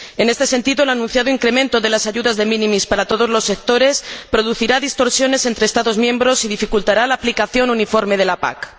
En este sentido, el anunciado incremento de las ayudas de minimis para todos los sectores producirá distorsiones entre Estados miembros y dificultará la aplicación uniforme de la PAC.